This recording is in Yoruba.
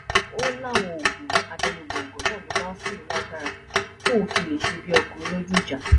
ó láwọn oògùn abẹnugọńgọ náà ló máa ń fún òun lágbára tóun fi lè ṣe bíi ọkùnrin lójú ìjà